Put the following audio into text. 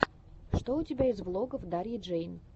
что у тебя есть из влогов дарьи джэй